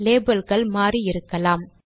லேபிள்கள் மாறி இருக்கலாம்